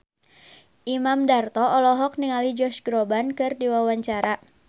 Imam Darto olohok ningali Josh Groban keur diwawancara